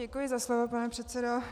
Děkuji za slovo, pane předsedo.